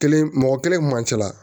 Kelen mɔgɔ kelen man ca